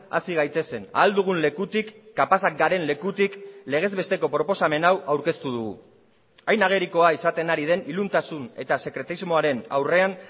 hasi gaitezen ahal dugun lekutik kapazak garen lekutik legez besteko proposamen hau aurkeztu dugu hain agerikoa izaten ari den iluntasun eta sekretismoaren aurrean